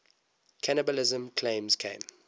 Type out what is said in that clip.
cannibalism claims came